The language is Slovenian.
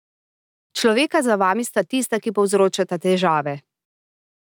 Človeka za vami sta tista, ki povzročata težave.